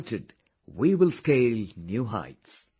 United we will scale new heights